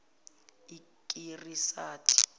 ikirisati